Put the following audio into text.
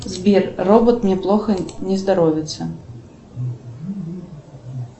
сбер робот мне плохо не здоровится